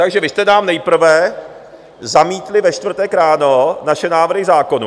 Takže vy jste nám nejprve zamítli ve čtvrtek ráno naše návrhy zákonů.